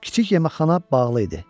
Kiçik yeməkxana bağlı idi.